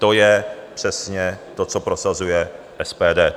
To je přesně to, co prosazuje SPD.